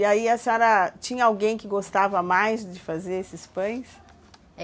E aí a senhora... Tinha alguém que gostava mais de fazer esses pães?